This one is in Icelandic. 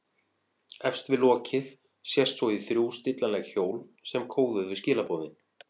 Efst við lokið sést svo í þrjú stillanleg hjól sem kóðuðu skilaboðin.